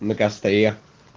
на костре